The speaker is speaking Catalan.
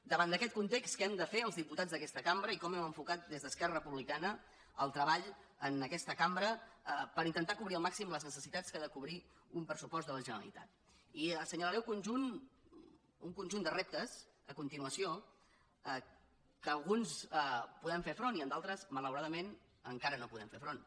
davant d’aquest context què hem de fer els diputats d’aquesta cambra i com hem enfocat des d’esquerra republicana el treball en aquesta cambra per intentar cobrir al màxim les necessitats que ha de cobrir un pressupost de la generalitat i assenyalaré el conjunt un conjunt de reptes a continuació que a alguns podem fer front i en d’altres malauradament encara no hi podem fer front